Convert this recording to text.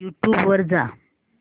YouTube वर जा